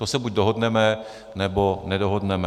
To se buď dohodneme, nebo nedohodneme.